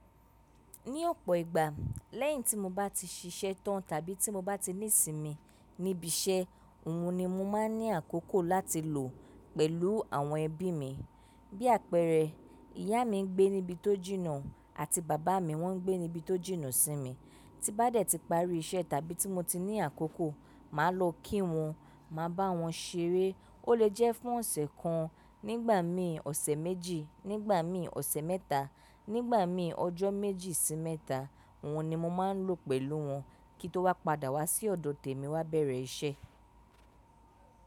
Ní ọ̀pọ̀ ìgbà lẹ́yìn tí mo bá ti ṣiṣẹ́ tán tàbí tí mo bá ti ní ìsinmi níbi iṣẹ́, òhun ni mo máa ń ní àkókò láti lò pẹ̀lú àwọn ẹbí mi. Bí àpẹẹrẹ, ìyá mi ń gbé níbi tó jìnnà àti bàbá mi wọ́n ń gbé níbi tó jìnnà sí mi. Tí bá dẹ̀ ti parí iṣẹ́ tàbí tí mo ti ní àkókò, màá lọ kí wọn, màá bá wọn ṣeré. Ó lè jẹ́ fún ọ̀sẹ̀ kan, nígbà mí ọ̀sẹ̀ méjì, nígbà mí ọ̀sẹ̀ mẹ́ta, nígbà mí ọjọ́ méjì sí mẹ́ta. Òhun ni mo máa ń lò pẹ̀lú wọn kí n tó wá padà wá sí ọ̀dọ̀ tèmi wá bẹ̀rẹ̀ iṣẹ́.